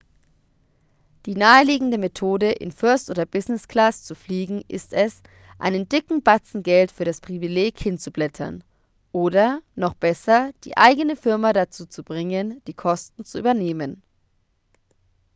die naheliegende methode in first oder business-class zu fliegen ist es einen dicken batzen geld für das privileg hinzublättern oder noch besser die eigene firma dazu zu bringen die kosten zu übernehmen